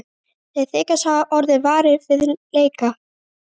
Þeir þykjast hafa orðið varir við leka